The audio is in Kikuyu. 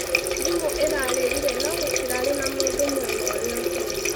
thimu ĩrarĩrĩre no gũtĩrarĩ na mũndũ mwena ũrĩa ũngĩ.